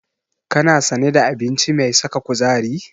Kana sane da abinci mai saka kuzari?